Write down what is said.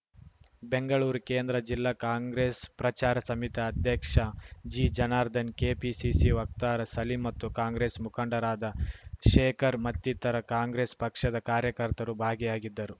ಬೆಂಗಳೂರು ಕೇಂದ್ರ ಜಿಲ್ಲಾ ಕಾಂಗ್ರೆಸ್‌ ಪ್ರಚಾರ ಸಮಿತಿ ಅಧ್ಯಕ್ಷ ಜಿಜನಾರ್ಧನ್‌ ಕೆಪಿಸಿಸಿ ವಕ್ತಾರ ಸಲೀಮ್‌ ಮತ್ತು ಕಾಂಗ್ರೆಸ್‌ ಮುಖಂಡರಾದ ಶೇಖರ್‌ ಮತ್ತಿತರ ಕಾಂಗ್ರೆಸ್‌ ಪಕ್ಷದ ಕಾರ್ಯಕರ್ತರು ಭಾಗಿಯಾಗಿದ್ದರು